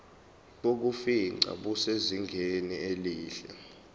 bokufingqa busezingeni elihle